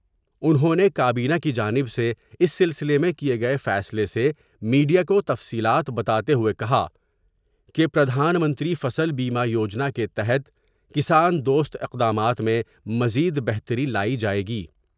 انہوں نے کابینہ کی جانب سے اس سلسلے میں کئے گئے فیصلے سے میڈ یا کو تفصیلات بتاتے ہوۓ کہا کہ پردھان منتری فصل بیمہ یو جنا کے تحت کسان دوست اقدامات میں مزید بہتری لائی جائے گی ۔